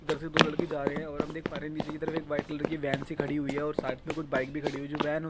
इधर से दो लड़के जा रहे है और हम देख पा रहे है नीचे की तरफ एक व्हाइट कलर की वेन सी खड़ी हुई है और साथ मे कुछ बाइक भी खड़ी हुई जो वैन --